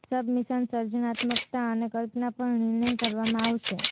submissions સર્જનાત્મકતા અને કલ્પના પર નિર્ણય કરવામાં આવશે